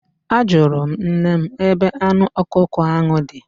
Ajụrụ m nne m ebe anụ ọkụkọ ahụ dị.